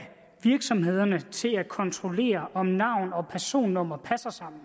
virksomhederne til at kontrollere om navn og personnummer passer sammen